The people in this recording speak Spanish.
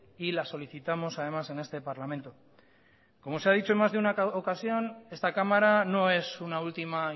y la solicitamos además en este parlamento como se ha dicho en más de una ocasión esta cámara no es una última